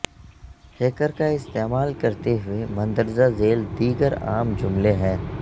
hacker کا استعمال کرتے ہوئے مندرجہ ذیل دیگر عام جملے ہیں